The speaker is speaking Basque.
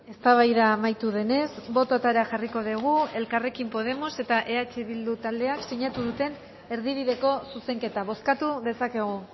eztabaida amaitu denez bototara jarriko dugu elkarrekin podemos eta eh bildu taldeak sinatu duten erdibideko zuzenketa bozkatu dezakegu